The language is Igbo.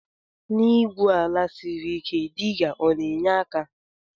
Na igwu ala siri ike diga ọna enye aka?